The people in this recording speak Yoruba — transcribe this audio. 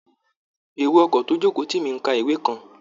Èrò ọkọ̀ tó jókòó tì mí ń ka ìwé kan